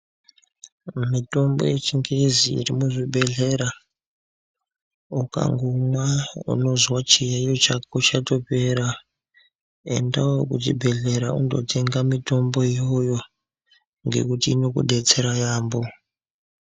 Mitombo yechingezi ichimwo muzvibhedhlera. Ukangomwa unozwa chiyaiyo chako chatopera. Endawo kuchibhedhlera unondotenga mitombo iyoyo ngekuti inokudetsera yaamho.